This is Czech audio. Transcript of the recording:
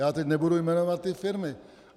Já teď nebudu jmenovat ty firmy.